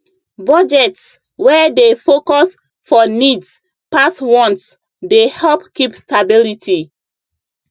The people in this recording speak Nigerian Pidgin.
budgets wey dey focus for needs pass wants dey help keep stability